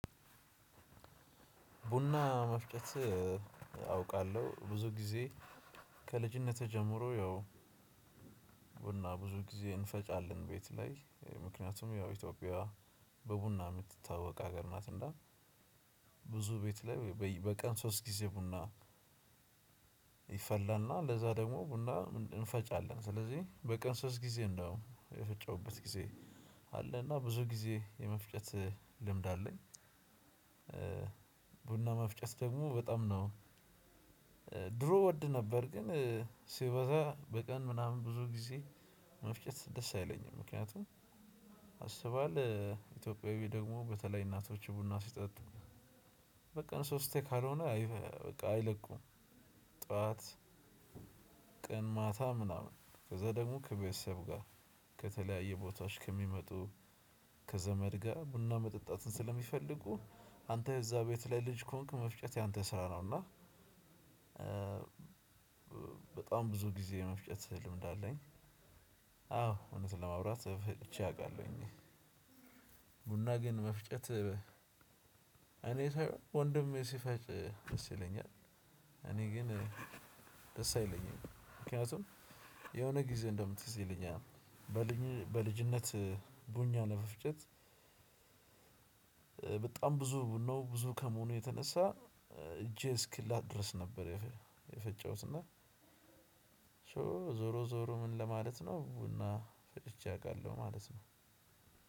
ቡና መፍጨት አውቃለሁ ብዙ ጊዜ ከልጅነቴ ጀምሮ። ያው ቡና ብዙ ጊዜ እንፈጫለን ቤት ላይ ምክንያቱም ያው ኢትዮጵያ በቡና የምትታወቅ ሀገር ናት። እና ብዙ ቤት ላይ በቀን ሶስት ጊዜ ቡና። ይፈላና ለዛ ደግሞ ቡና እንፈጫለን ስለዚህ በቀን ሶስት ጊዜ ነው የፈጨሁበት ጊዜ። አለ እና ብዙ ጊዜ የመፍጨት ልምድ አለኝ። ቡና መፍጨት ደግሞ በጣም ነው ድሮ ወድ ነበር። ግን ሲበዛ በቀን ምናምን ብዙ ጊዜ መፍጨት ደስ አይለኝም። ምክንያቱም አስበሀዋል? ኢትዮጵያዊ ደግሞ በተለይ እናቶች ቡና ሲጠጥ በቀን ሶስቴ ካልሆነ በቃ አይለቁም። ጠዋት ቀን ማታ ምናምን ከዛ ደግሞ ከቤተሰብ ጋር። ከተለያየ ቦታዎች ከሚመጡ ከዘመድ ጋር ቡና መጠጣትን ስለሚፈልጉ አንተ የዛ ቤት ላይ ልጅ ከሆንክ መፍጨት ያንተ ስራ ነው። እና በጣም ብዙ ጊዜ መፍጨት ልምድ አለኝ። አዎ እውነት ለማውራት ፈጭቼ አውቃለሁኝ። ቡና ግን መፍጨት። እኔ ወንድሜ ሲፈጭ መሰለኝ። እኔ ግን ደስ አይለኝም። ምክንያቱም የሆነ ጊዜ እንደውም ትዝ ይለኛል። በልጅነት ቡና ለመፍጨት በጣም ብዙ ብዙ ከመሆኑ የተነሳ እጄ እስክላጥ ድረስ ነበር የፈጨሁት እና። ዞሮ ዞሮ ምን ለማለት ነው ቡና ፈጭቼ አውቃለሁ ማለት ነው።